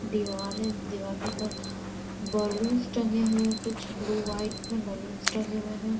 दीवार है दीवार के ऊपर बलून्स टंगे हुए हैं कुछ ब्लू व्हाइट मे बलून्स टंगे हुए हैं।